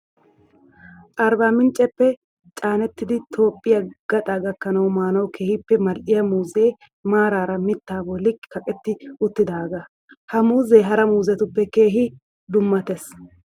Arbbaamincceppe caanettidi Toophphiya gaxaa gakkiyaa maanawu keehippe mal''iyaa muuzzee maaraara mittaa bolla kaqetti uttaagaa. Ha muuzzee hara muuzzetuppe keehi dummates.